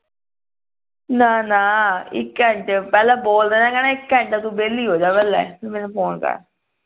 ਨਾ ਨਾ ਇਕ ਘੰਟੇ ਪਹਿਲਾਂ ਬੋਲ ਦੇਣਾ ਕਹਿਣਾ ਇਕ ਘੰਟਾ ਤੂੰ ਵਿਹਲੀ ਹੋ ਜਾ ਪਹਿਲੇ ਮੈਨੂੰ phone ਕਰ